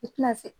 I tina se